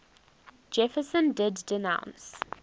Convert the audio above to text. jefferson did denounce